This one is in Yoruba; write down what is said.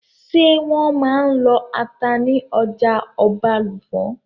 Ṣé wọ́n máa n lọ ata ní ọjà Ọbàlùfọ̀n?